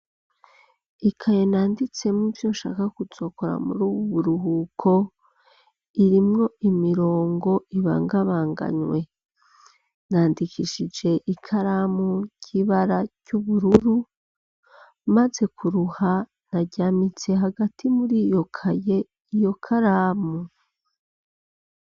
Ikaye nanditsemo ivyonshaka kuzokora muri ubu buruhuko. Irimwo imirongo ibangabanganywe nandikishije ikaramu y'ibara ryubururu maze kuruha naryamitse hagati muri iyo kaye iyo karamu.